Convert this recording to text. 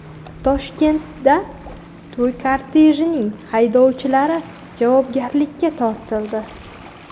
Toshkentda to‘y kortejining haydovchilari javobgarlikka tortildi.